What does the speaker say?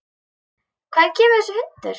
Hvaðan kemur þessi hundur?